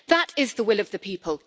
That is the will of the people.